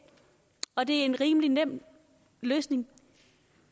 og det er en rimelig nem løsning